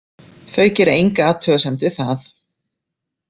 Þau gera enga athugasemd við það.